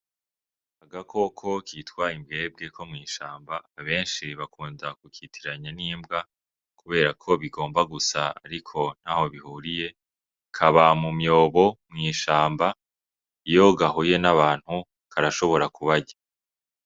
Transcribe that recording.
Agakoko kitwa imbwebwe ko mw'ishamba benshi bakunda kukitiranya n' imbwa kubera ko bigomba gusa ariko ntaho bihuriye kaba mu myobo mw'ishamba iyo gahuye n' abantu karashobora kubarya.